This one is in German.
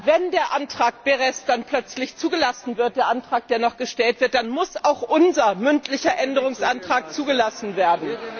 Wenn der Antrag Berès dann plötzlich zugelassen wird, der Antrag, der noch gestellt wird, dann muss auch unser mündlicher Änderungsantrag zugelassen werden!